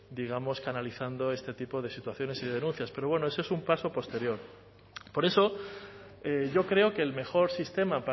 digamos analizando este tipo de situaciones y de denuncias pero bueno ese es un paso posterior por eso yo creo que el mejor sistema